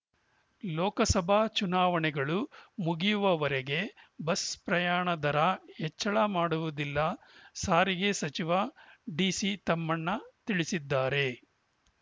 ಲೋಕಸಭಾ ಚುನಾವಣೆಗಳು ಮುಗಿಯುವವರೆಗೆ ಬಸ್‌ ಪ್ರಯಾಣ ದರ ಹೆಚ್ಚಳ ಮಾಡುವುದಿಲ್ಲ ಸಾರಿಗೆ ಸಚಿವ ಡಿಸಿ ತಮ್ಮಣ್ಣ ತಿಳಿಸಿದ್ದಾರೆ